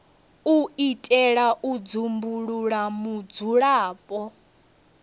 u itela u dzumbulula vhudzulapo